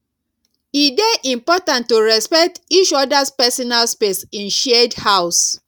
e dey important to respect each others personal space in shared house